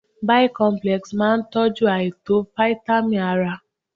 Bicomplex máa tọ́jú àìtó fítámìn ara.